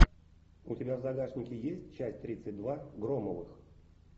у тебя в загашнике есть часть тридцать два громовых